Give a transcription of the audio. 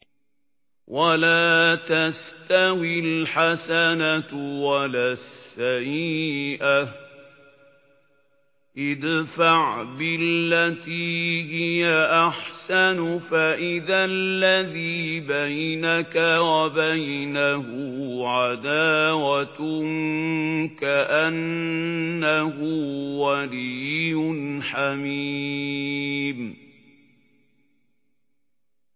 وَلَا تَسْتَوِي الْحَسَنَةُ وَلَا السَّيِّئَةُ ۚ ادْفَعْ بِالَّتِي هِيَ أَحْسَنُ فَإِذَا الَّذِي بَيْنَكَ وَبَيْنَهُ عَدَاوَةٌ كَأَنَّهُ وَلِيٌّ حَمِيمٌ